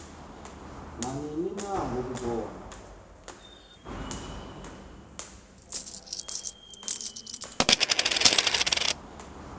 nanini na ngokubona